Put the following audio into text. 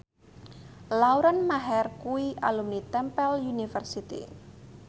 Lauren Maher kuwi alumni Temple University